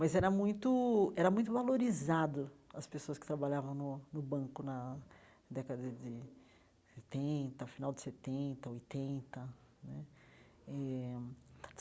Mas era muito era muito valorizado, as pessoas que trabalhavam no no banco na década de setenta, final de setenta, oitenta né eh.